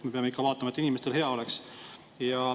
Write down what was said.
Me peame ikka vaatama, et inimestel hea oleks.